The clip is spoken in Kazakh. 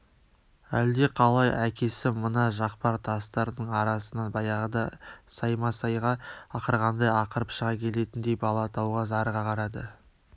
әлдеқалай әкесі мына жақпар тастардың арасынан баяғыда саймасайға ақырғандай ақырып шыға келетіндей бала тауға зарыға қарады